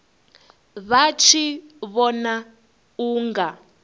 vha tshi vhona u nga